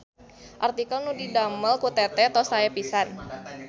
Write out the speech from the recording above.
Artikel nu didamel ku teteh tos sae pisan